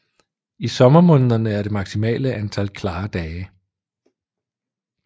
I sommermånederne er det maksimale antal klare dage